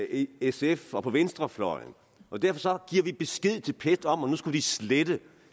sf og på venstrefløjen og derfor giver de besked til pet om at de skulle slette